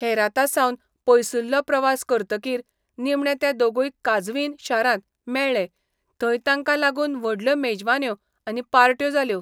हेरातासावन पयसुल्लो प्रवास करतकीर निमणे ते दोगूय काझवीन शारांत मेळ्ळे, थंय तांकां लागून व्हडल्यो मेजवान्यो आनी पार्ट्यो जाल्यो.